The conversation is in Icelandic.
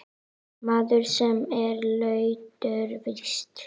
Maður, sem er latur víst.